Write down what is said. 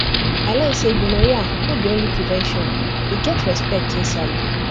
i learn say gonorrhea no be only prevention e get respect inside